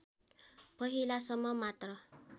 पहिलासम्म मात्र